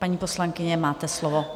Paní poslankyně, máte slovo.